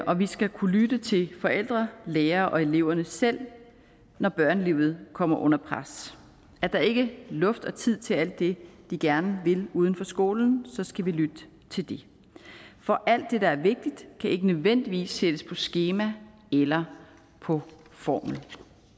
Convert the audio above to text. og vi skal kunne lytte til forældre lærere og eleverne selv når børnelivet kommer under pres er der ikke luft og tid til alt det de gerne vil uden for skolen så skal vi lytte til det for alt det der er vigtigt kan ikke nødvendigvis et skema eller på formel